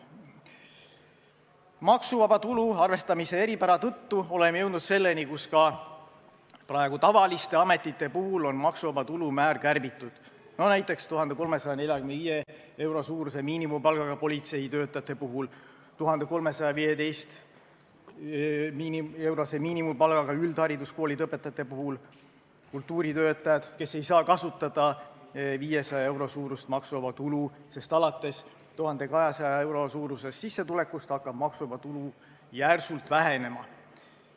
Maksuvaba tulu arvestamise eripära tõttu oleme jõudnud selleni, kus ka tavaliste ametite puhul on maksuvaba tulu määr kärbitud, näiteks 1345 euro suuruse miinimumpalgaga politseitöötajatel, 1315-eurose miinimumpalgaga üldhariduskoolide õpetajatel, kultuuritöötajatel, kes ei saa kasutada 500 euro suurust maksuvaba tulu, sest alates 1200 euro suurusest sissetulekust hakkab maksuvaba tulu järsult vähenema.